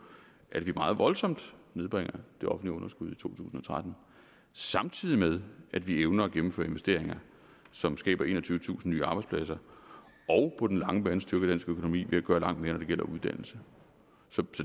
at vi meget voldsomt nedbringer det offentlige underskud i to tusind og tretten samtidig med at vi evner at gennemføre investeringer som skaber enogtyvetusind nye arbejdspladser og på den lange bane styrker dansk økonomi ved at gøre langt mere når det gælder uddannelse så